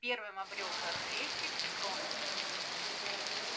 первым обрёл дар речи рон